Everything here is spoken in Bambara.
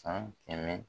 San kɛmɛ